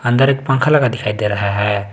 अंदर एक पंखा लगा दिखाई दे रहा है।